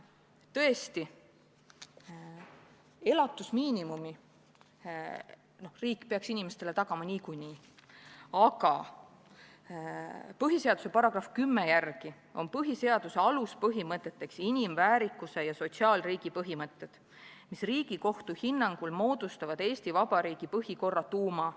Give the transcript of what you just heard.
Tõesti, elatusmiinimumi peaks riik inimestele tagama niikuinii, aga põhiseaduse § 10 järgi on põhiseaduse aluspõhimõteteks inimväärikuse ja sotsiaalriigi põhimõtted, mis Riigikohtu hinnangul moodustavad Eesti Vabariigi põhikorra tuuma.